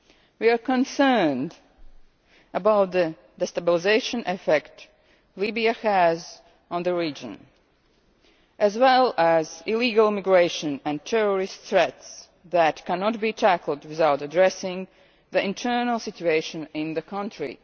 We are concerned about the destabilising effect Libya has on the region, as well as illegal migration and terrorist threats that cannot be tackled without addressing the internal situation in the